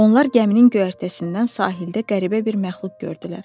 Onlar gəminin göyərtəsindən sahildə qəribə bir məxluq gördülər.